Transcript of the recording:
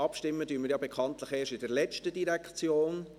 Abstimmen werden wir bekanntlich erst bei der letzten Direktion.